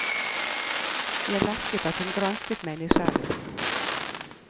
Jeg merket at hun gransket meg nysgjerrig.